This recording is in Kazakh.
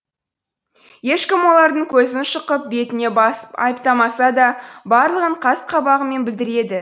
ешкім олардың көзін шұқып бетіне басып айыптамаса да барлығын қас қабағымен білдіреді